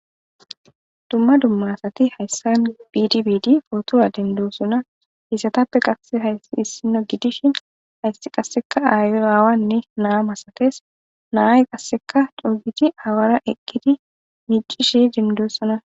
dumma dummasati hayssan bidibdi footura dindossona hissatappe qase hayssi issina gidishin hayssi qasseka aagoaawanne naa masates naay qasseka dogiti awaara eqqidi miicishe dindossana